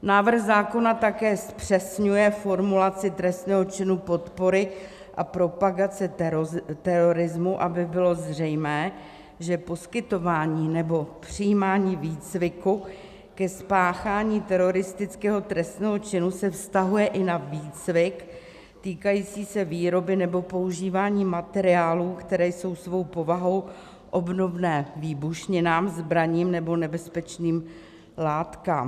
Návrh zákona také zpřesňuje formulaci trestného činu podpory a propagace terorismu, aby bylo zřejmé, že poskytování nebo přijímání výcviku ke spáchání teroristického trestného činu se vztahuje i na výcvik týkající se výroby nebo používání materiálů, které jsou svou povahou obdobné výbušninám, zbraním nebo nebezpečným látkám.